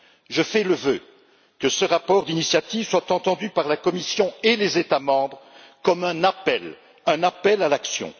Je fais le vœu que ce rapport d'initiative soit entendu par la Commission et par les États membres comme un appel à l'action.